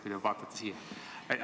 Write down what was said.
Kui te vaataksite siia!